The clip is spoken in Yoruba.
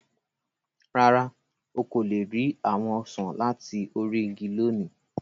Rárá, o ko le ri awọn osan lati ori igi loni.